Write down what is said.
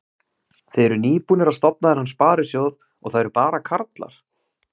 Þið eruð nýbúnir að stofna þennan sparisjóð og það eru bara karlar?